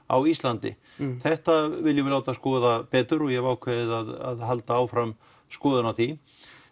á Íslandi þetta viljum við láta skoða betur og ég hef ákveðið að halda áfram skoðun á því